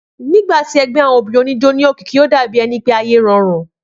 Nígbàtí ẹgbẹ́ àwọn obìrin òní ijó ní òkìkí o dà bí ẹni pé ayé rọrùn